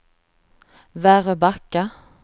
Väröbacka